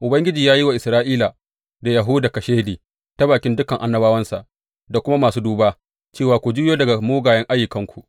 Ubangiji ya yi wa Isra’ila da Yahuda kashedi ta bakin dukan annabawansa da kuma masu duba, cewa, Ku juyo daga mugayen ayyukanku.